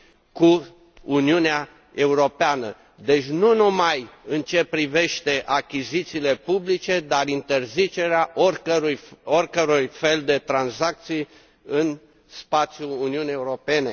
cu Uniunea Europeană deci nu numai în ceea ce privește achizițiile publice, ci interzicerea oricărui fel de tranzacții în spațiul Uniunii Europene.